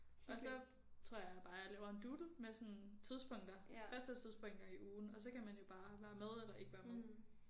Og så tror jeg bare jeg laver en doodle med sådan tidspunkter faste tidspunkter i ugen og så kan man jo bare være med eller ikke være med